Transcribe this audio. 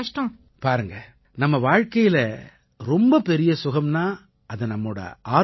பாருங்க நம்ம வாழ்க்கையில ரொம்ப பெரிய சுகம்னா அது நம்மோட ஆரோக்கியம் தான்